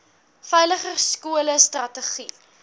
veiliger skole strategie